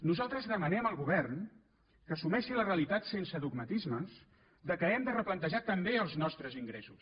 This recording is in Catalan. nosaltres demanem al govern que assumeixi la realitat sense dogmatismes que hem de replantejar també els nostres ingressos